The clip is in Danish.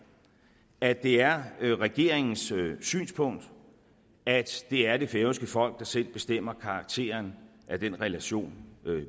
at det er regeringens synspunkt at det er det færøske folk der selv bestemmer karakteren af den relation